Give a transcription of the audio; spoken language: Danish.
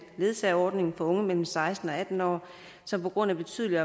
ledsageordningen for unge mellem seksten og atten år som på grund af betydelig